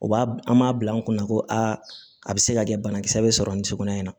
O b'a an m'a bila an kunna ko aa a bɛ se ka kɛ banakisɛ bɛ sɔrɔ nin so kɔnɔ yen